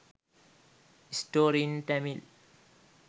story in tamil